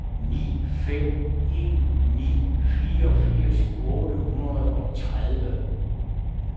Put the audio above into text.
ni fem en ni fireogfirs otte hundrede og tredive